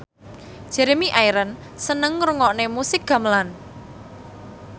Jeremy Irons seneng ngrungokne musik gamelan